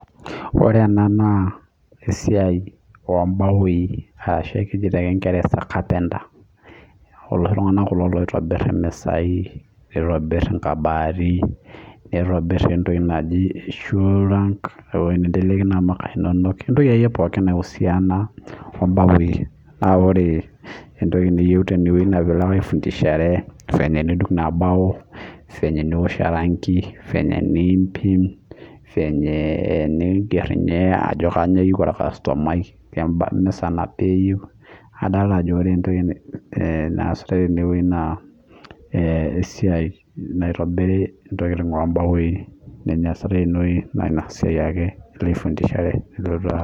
Ore ena naa esiai ombawoi arashu ekeji te kingeresa carpenter iloshi tung'anak kulo loitobirr imisai nitobirr inkabati nitobirr entoki naji shoe rack ewoi ninteleki inamuka inonok ewueji akeyie pookin naiusiana ombawoi naa ore entoki niyieu tenewuei naa piilo ake aifundishare fenye enidung inabao fenye eniwosh orangi fenye enimpim fenye eningerr ninye ajo kanyio eyieu orkastomai kema kemisa nabaa eyieu adalta ajo ore entoki eh naasitae tenewoi naa eh esiai naitobiri intokiting ombawoi naa ina siai ake ilo aifundishare nilotu aa.